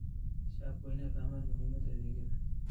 Shacabku waa inay ogaadaan muhiimada adeegyadan.